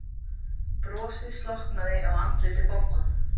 Brosið slokknaði á andliti Boggu.